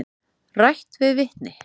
Rætt við vitni.